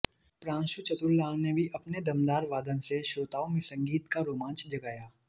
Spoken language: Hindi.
प्रांशु चतुरलाल ने भी अपने दमदार वादन से श्रोताओं में संगीत का रोमांच जगाया